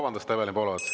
Vabandust, Evelin Poolamets!